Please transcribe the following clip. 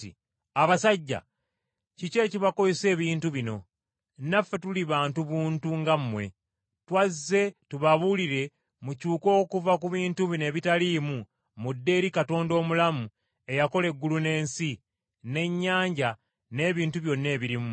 “Abasajja! Kiki ekibakozesa ebintu bino? Naffe tuli bantu buntu nga mmwe! Twazze tubabuulire mukyuke okuva ku bintu bino ebitaliimu mudde eri Katonda omulamu eyakola eggulu n’ensi, n’ennyanja n’ebintu byonna ebirimu.